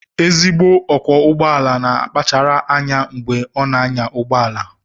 Ezigbo ọkwọ ụgbọ ala na-akpachara anya mgbe ọ na-anya ụgbọ ala